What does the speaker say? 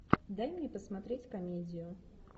дай мне посмотреть комедию